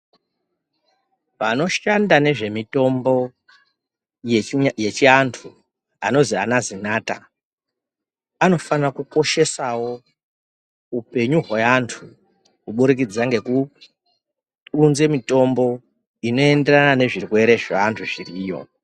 Vanoshanda nezvemitombo yechivantu anozi ana zinatha anofana kukoshesawo upenyu wevantu kuburikidza ngokuudze mitombo inoenderana nezvirwere zvevantu zviriyo.